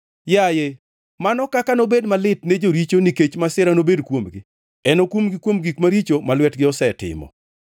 Yaye, mano kaka nobed malit ne joricho nikech masira nobed kuomgi. Enokumgi kuom gik maricho ma lwetgi osetimo.